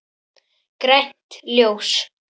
Grænt ljós.